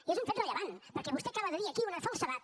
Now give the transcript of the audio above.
i és un fet rellevant perquè vostè acaba de dir aquí una falsedat